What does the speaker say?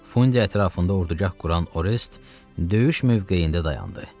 Fundi ətrafında ordugah quran Orest döyüş mövqeyində dayandı.